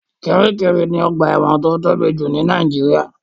Kiríkirì ni ọgbà ẹ̀wọ̀n tó tóbi jù ní Nàìjíríà.